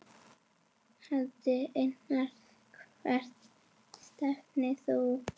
Valdi Einars Hvert stefnir þú?